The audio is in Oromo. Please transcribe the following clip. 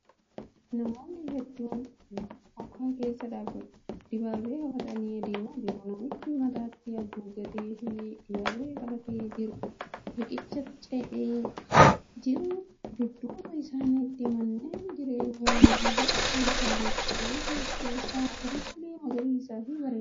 Namootni hedduun bokaa keessa dibaabee qabatanii deemaa jiru. Namichi mataatti haguuggatee fi dibaabee qabatee jiru riiqicha ce'aa jiru. Dudduuba isaaniitti manneen jireenyaa ammayyaa mul'achaa jiru. Qe'ee keessi isaa garmalee magariisaa fi bareedadha.